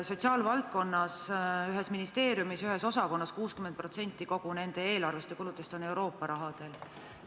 Sotsiaalvaldkonna ühe ministeeriumi ühe osakonna eelarvest ja kuludest 60% põhineb Euroopa rahal.